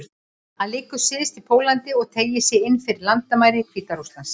Hann liggur syðst í Póllandi og teygir sig inn fyrir landamæri Hvíta-Rússlands.